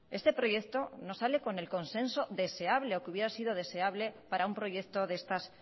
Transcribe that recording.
este proyecto no sale con el consenso deseable o que hubiera sido deseable para un proyecto de estas